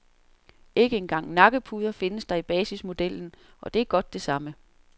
Ikke engang nakkepuder findes der i basismodellen, og det er godt det samme.